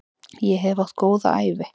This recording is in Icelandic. Ég hef átt góða ævi.